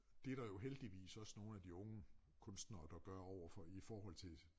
Det der jo heldigvis også nogle af de unge kunstnere der gør overfor i forhold til